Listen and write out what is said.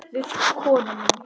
Við konu mína.